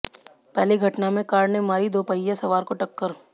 पहली घटना में कार ने मारी दोपहिया सवार को टक्कर